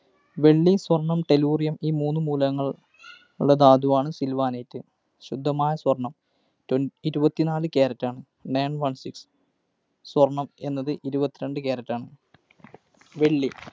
വെള്ളി, സ്വർണം, Tellurium ഈ മൂന്ന് മൂലകങ്ങളുള്ള ധാതുവാണ്‌ Sylvanite. ശുദ്ധമായ സ്വർണം. ഇരുപത്തിനാല് carat ആണ്. nine one six സ്വർണം എന്നത് ഇരുപത്തിരണ്ട് carat ആണ്. വെള്ളി